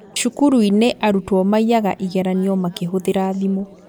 Cukuruinĩ arutwo maiyaga igeranio makĩhũthira thimũ